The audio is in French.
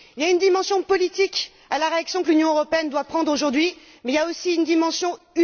Il y a une dimension politique à la réaction que l'Union européenne doit prendre aujourd'hui, mais il y a aussi une dimension humaine.